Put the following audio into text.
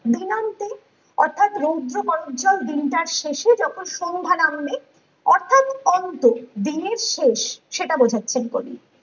অর্থাৎ রৌদ্র চঞ্চল দিনটার শেষে যখন সন্ধ্যা নামবে অর্থ্যাৎ অন্ত দিনের শেষ সেটা বোঝাচ্ছেন কবি